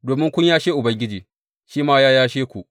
Domin kun yashe Ubangiji, shi ma ya yashe ku.’